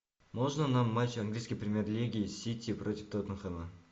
можно нам матч английской премьер лиги сити против тоттенхэма